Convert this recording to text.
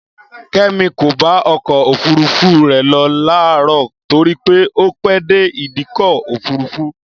Kẹ́mi kò bá ọkọ̀ òfúrufú rẹ̀ lọ láàrọ̀ torí pé ó pè dé ìdíkọ̀ òfúrufú